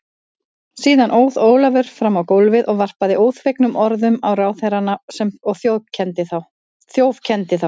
Síðan óð Ólafur fram á gólfið og varpaði óþvegnum orðum á ráðherrana og þjófkenndi þá.